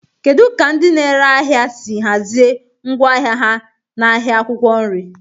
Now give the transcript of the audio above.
Kedu ka ndị na-ere ahịa si hazie ngwa ahịa ha n'ahịa akwụkwọ nri?